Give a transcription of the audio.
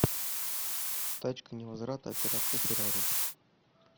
тачка невозврата операция феррари